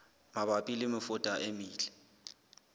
mabapi le mefuta e metle